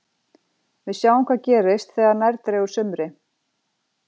Við sjáum hvað gerist þegar nær dregur sumri.